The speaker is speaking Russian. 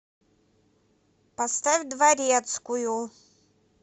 поставь дворецкую